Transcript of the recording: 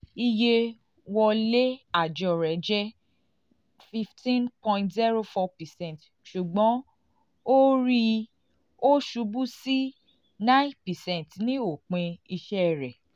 iye wọlé-ajo rẹ jẹ fifteen point zero four percent ṣugbọn o rii o ṣubu si nine percent ni opin iṣẹ rẹ